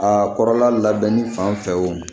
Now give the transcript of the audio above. A kɔrɔla labɛnni fan fɛ o